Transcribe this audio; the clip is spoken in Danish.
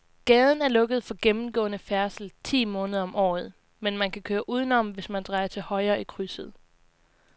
Gaden er lukket for gennemgående færdsel ti måneder om året, men man kan køre udenom, hvis man drejer til højre i krydset.